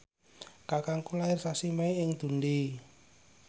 kakangku lair sasi Mei ing Dundee